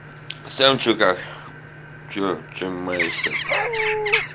сам что как что чем маешься